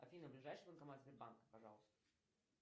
афина ближайший банкомат сбербанка пожалуйста